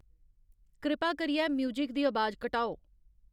कृपा करियै म्यूज़िक दी अबाज घटाओ